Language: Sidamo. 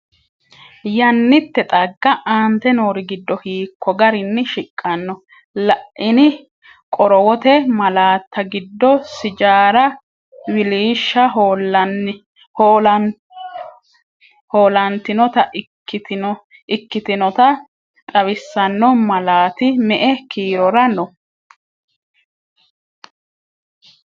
Yannitte xagga aante noori giddo hiikko garinni shiqqanno? La’ini qorowote malaatta giddo sijaara wiliishsha hoolantinota ikki- tinota xawisanno malaati me”e kiirora no?